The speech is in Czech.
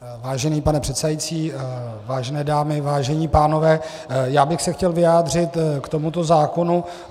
Vážený pane předsedající, vážené dámy, vážení pánové, já bych se chtěl vyjádřit k tomuto zákonu.